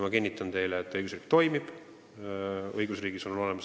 Ma kinnitan teile, et õigusriik toimib.